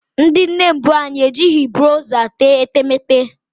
Ndị nne mbụ anyị ejighị bronza tee etemeete